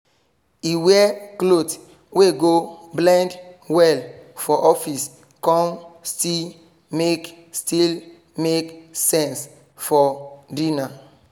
he wear cloth wey go blend well for office con still make still make sense for dinner